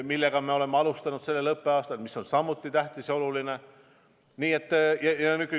Oleme sellega alustanud sellel õppeaastal, mis on samuti tähtis ja oluline.